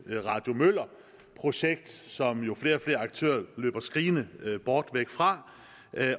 et radio møller projekt som jo flere og flere aktører løber skrigende bort fra